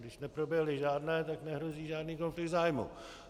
Když neproběhly žádné, tak nehrozí žádný konflikt zájmů.